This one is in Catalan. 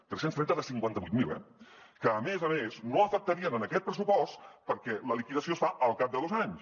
tres cents trenta de cinquanta vuit mil eh que a més a més no afectarien aquest pressupost perquè la liquidació es fa al cap de dos anys